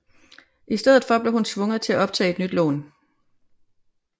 I stedet for blev hun tvunget til at optage et nyt lån